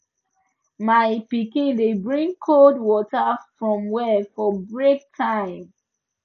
my pikin dey bring cold water from well for break time